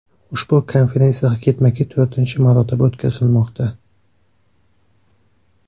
Ushbu konferensiya ketma-ket to‘rtinchi marotaba o‘tkazilmoqda.